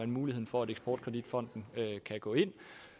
muligheden for at eksport kredit fonden kan gå ind